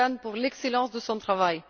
Kukan, pour l'excellence de son travail.